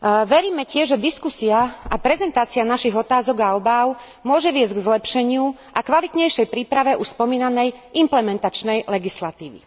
Veríme tiež, že diskusia a prezentácia našich otázok a obáv môže viesť k zlepšeniu a kvalitnejšej príprave už spomínanej implementačnej legislatívy.